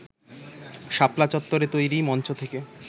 শাপলা চত্বরে তৈরি মঞ্চ থেকে